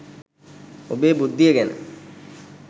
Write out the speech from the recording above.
ඔබේ බුද්ධිය ගැන